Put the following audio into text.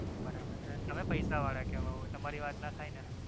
બરાબર છે તમે પૈસા વાળા કેવાવ તમારી વાત નો થાય ને